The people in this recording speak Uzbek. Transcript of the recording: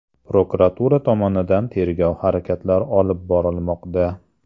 Prokuratura tomonidan tergov harakatlari olib borilmoqda.